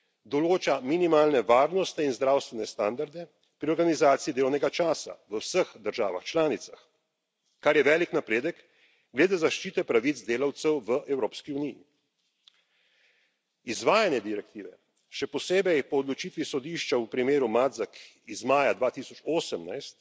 Določa minimalne varnostne in zdravstvene standarde pri organizaciji delovnega časa v vseh državah članicah, kar je velik napredek glede zaščite pravic delavcev v Evropski uniji. Izvajanje direktive, še posebej po odločitvi Sodišča v primeru Matzak iz maja 2018,